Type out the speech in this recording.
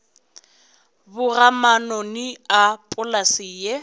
boga manoni a polase ye